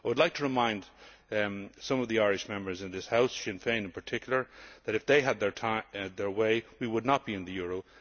I would like to remind some of the Irish Members in this House Sinn Féin in particular that if they had had their way, we would not be in the euro.